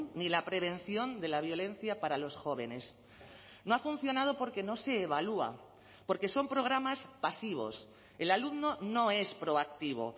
ni la prevención de la violencia para los jóvenes no ha funcionado porque no se evalúa porque son programas pasivos el alumno no es proactivo